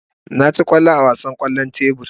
Na ci kwallo a wasan kwallon tebur.